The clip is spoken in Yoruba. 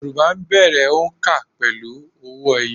Yorùbá bẹ̀rẹ̀ òǹkà pẹ̀lú owó ẹyọ